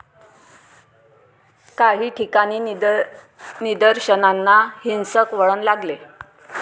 काही ठिकाणी निदर्शनांना हिंसक वळण लागले.